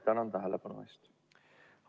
Tänan tähelepanu eest!